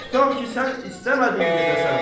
Tutaq ki, sən istəmədin gedəsən.